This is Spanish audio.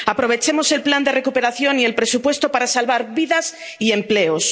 Aprovechemos el plan de recuperación y el presupuesto para salvar vidas y empleos.